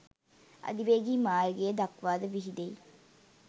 අධිවේගී මාර්ගය දක්වා ද විහිදෙයි